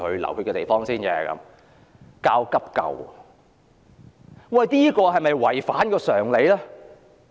利用熱線電話教急救是否有違反常理？